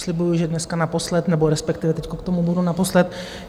Slibuji, že dneska naposled, nebo respektive teď k tomu budu naposled.